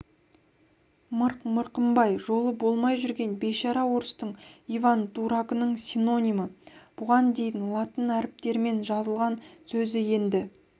мырық мырқымбай жолы болмай жүрген бейшара орыстың иван-дурагының синонимі бұған дейін латын әріптерімен жазылған сөзі енді